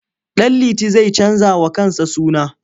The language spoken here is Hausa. Ɗanliti zai canjawa kansa suna.